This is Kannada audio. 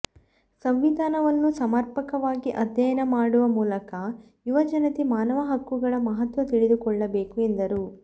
ಸಂವಿಧಾನವನ್ನು ಸಮರ್ಪಕವಾಗಿ ಅಧ್ಯಯನ ಮಾಡುವ ಮೂಲಕ ಯುವಜನತೆ ಮಾನವ ಹಕ್ಕುಗಳ ಮಹತ್ವ ತಿಳಿದುಕೊಳ್ಳಬೇಕು ಎಂದರು